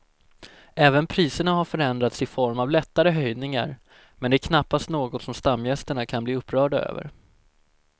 Även priserna har förändrats i form av lättare höjningar men det är knappast något som stamgästerna kan bli upprörda över.